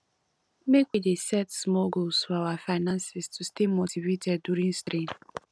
make we dey set small goals for our finances to stay motivated during strain